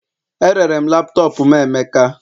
Erere m laptop m emeka